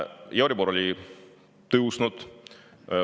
Euribor oli tõusnud.